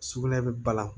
Sugunɛ bɛ balan